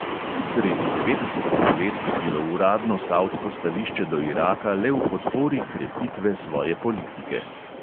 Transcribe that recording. Sredi devetdesetih let je bilo uradno savdsko stališče do iraka le v podpori krepitve svoje politike.